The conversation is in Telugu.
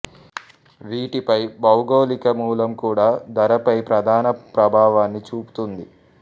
వీటిపై భౌగోళిక మూలం కూడా ధరపై ప్రధాన ప్రభావాన్ని చూపుతుంది